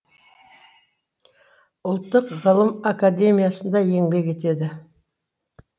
ұлттық ғылым академиясында еңбек етеді